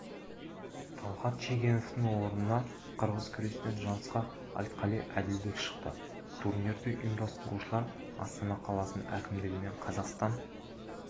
талғат шегеновтің орнына қырғыз күрестен жарысқа айтқали әділбек шықты турнирді ұйымдастырушылар астана қаласының әкімдігі мен қазақстан